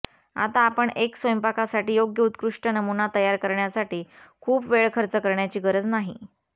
आता आपण एक स्वयंपाकासाठी योग्य उत्कृष्ट नमुना तयार करण्यासाठी खूप वेळ खर्च करण्याची गरज नाही